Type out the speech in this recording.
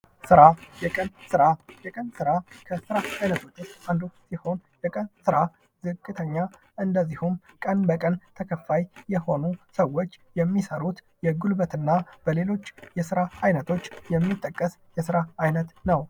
ስራ ። የቀን ስራ ፡ የቀን ስራ ከስራ አይነቶች ውስጥ አንዱ ሲሆን የቀን ስራ ዝቅተኛ እንደዚሁም ቀን በቀን ተከፋይ የሆኑ ሰዎች የሚሰሩት የጉልበት እና በሌሎች የስራ አይነቶች የሚጠቀስ የስራ አይነት ነው ።